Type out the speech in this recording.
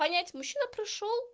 понять мужчина прошёл